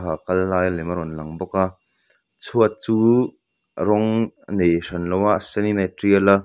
kal lai lem a rawn lang bawk a chhuat chu rawng a nei hran loa a senin a tial a.